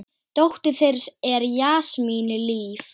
Dóttir þeirra er Jasmín Líf.